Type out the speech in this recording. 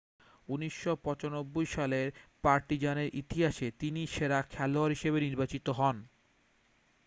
1995 সালে পার্টিজানের ইতিহাসে তিনি সেরা খেলোয়াড় হিসাবে নির্বাচিত হন